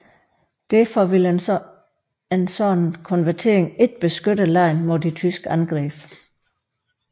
Derfor ville en sådan konvertering ikke beskytte landet mod de tyske angreb